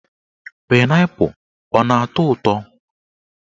Painaipu ana atọ ụtọ